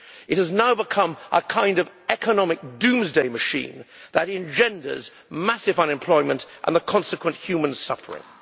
It has now become a kind of economic doomsday machine that engenders massive unemployment and the consequent human suffering.